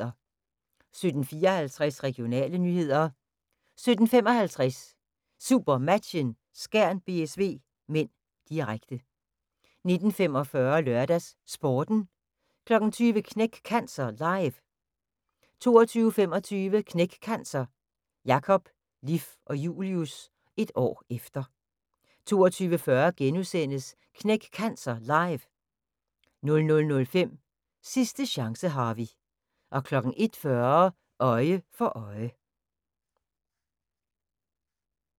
17:54: Regionale nyheder 17:55: SuperMatchen: Skjern-BSV (m), direkte 19:45: LørdagsSporten 20:00: Knæk Cancer Live 22:25: Knæk Cancer: Jakob, Liff og Julius – et år efter 22:40: Knæk Cancer Live * 00:05: Sidste chance, Harvey 01:40: Øje for øje